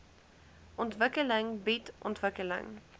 ontwikkeling bied ontwikkeling